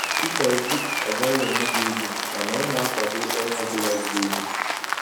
Peter obi agaghị enye gị ego mana ọ na-akwado ọrụ ọ bụla ziri ezi